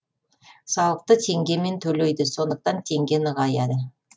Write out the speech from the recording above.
салықты теңгемен төлейді сондықтан теңге нығаяды